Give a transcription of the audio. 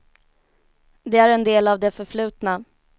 Det är en del av det förflutna.